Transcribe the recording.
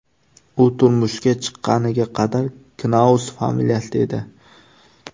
U turmushga chiqqaniga qadar Knaus familiyasida edi.